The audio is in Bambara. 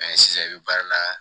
sisan i bɛ baara la